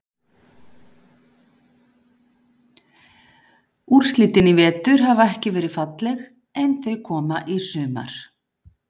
Úrslitin í vetur hafa ekki verið falleg en þau koma í sumar.